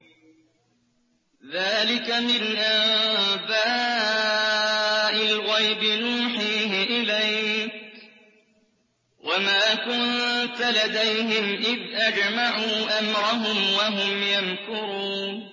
ذَٰلِكَ مِنْ أَنبَاءِ الْغَيْبِ نُوحِيهِ إِلَيْكَ ۖ وَمَا كُنتَ لَدَيْهِمْ إِذْ أَجْمَعُوا أَمْرَهُمْ وَهُمْ يَمْكُرُونَ